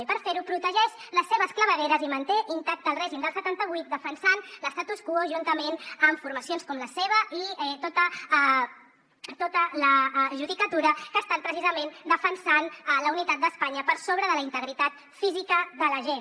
i per fer ho protegeix les seves clavegueres i manté intacte el règim del setanta vuit defensant l’statu quo juntament amb formacions com la seva i tota la judicatura que ha estat precisament defensant la unitat d’espanya per sobre de la integritat física de la gent